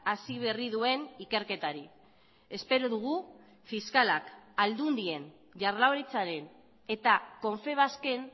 hasi berri duen ikerketari espero dugu fiskalak aldundien jaurlaritzaren eta confebasken